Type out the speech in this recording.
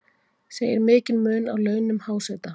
Segir mikinn mun á launum háseta